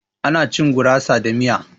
Ana cin gurasa da miya.